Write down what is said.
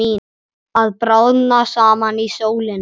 Að bráðna saman í sólinni